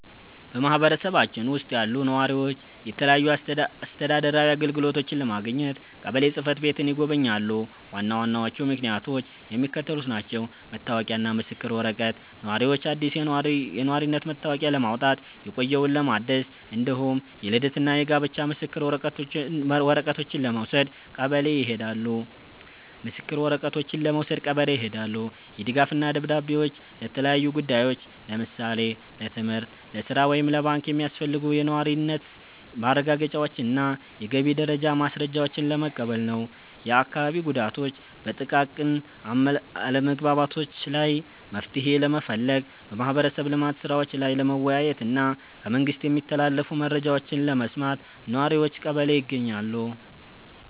በማኅበረሰባችን ውስጥ ያሉ ነዋሪዎች የተለያዩ አስተዳደራዊ አገልግሎቶችን ለማግኘት ቀበሌ ጽሕፈት ቤትን ይጎበኛሉ። ዋና ዋናዎቹ ምክንያቶች የሚከተሉት ናቸው፦ መታወቂያና ምስክር ወረቀት፦ ነዋሪዎች አዲስ የነዋሪነት መታወቂያ ለማውጣት፣ የቆየውን ለማደስ፣ እንዲሁም የልደትና የጋብቻ ምስክር ወረቀቶችን ለመውሰድ ቀበሌ ይሄዳሉ። የድጋፍ ደብዳቤዎች፦ ለተለያዩ ጉዳዮች (ለምሳሌ ለትምህርት፣ ለሥራ ወይም ለባንክ) የሚያስፈልጉ የነዋሪነት ማረጋገጫዎችንና የገቢ ደረጃ ማስረጃዎችን ለመቀበል ነው። የአካባቢ ጉዳዮች፦ በጥቃቅን አለመግባባቶች ላይ መፍትሔ ለመፈለግ፣ በማኅበረሰብ ልማት ሥራዎች ላይ ለመወያየትና ከመንግሥት የሚተላለፉ መረጃዎችን ለመስማት ነዋሪዎች ቀበሌ ይገኛሉ።